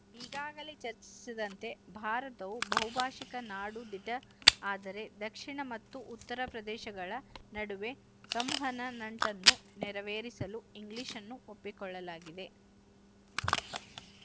ಈಗಾಗಲೇ ಚರ್ಚಿಸಿದಂತೆ ಭಾರತವು ಬಹುಭಾಶಿಕ ನಾಡು ದಿಟ ಆದರೆ ದಕ್ಶಿಣ ಮತ್ತು ಉತ್ತರದ ಪ್ರದೇಶಗಳ ನಡುವೆ ಸಂವಹನ ನಂಟನ್ನು ನೆರವೇರಿಸಲು ಇಂಗ್ಲಿಶ್‌ನ್ನು ಒಪ್ಪಿಕೊಳ್ಳಲಾಗಿದೆ